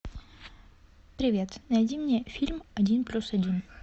привет найди мне фильм один плюс один